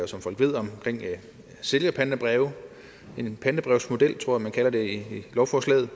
som folk ved om sælgerpantebreve en pantebrevsmodel tror jeg man kalder det i lovforslaget